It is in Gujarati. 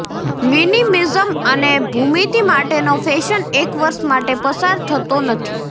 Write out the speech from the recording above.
મિનિમિઝમ અને ભૂમિતિ માટેનો ફેશન એક વર્ષ માટે પસાર થતો નથી